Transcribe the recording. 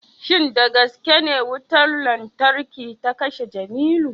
shin da gaske ne wutar lantarki ta kashe Jimilu